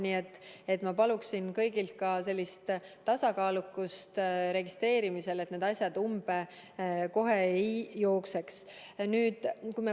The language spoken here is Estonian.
Nii et ma palun kõigilt registreerimisel tasakaalukust, et need asjad kohe umbe ei jookseks.